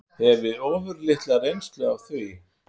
Hefi ofurlitla reynslu af því.